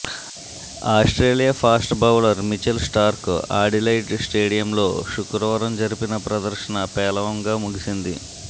Australia fast bowler Mitchell Starc Adelaide స్టేడియంలో శుక్రవారం జరిపిన ప్రదర్శన పేలవంగా ముగిసింది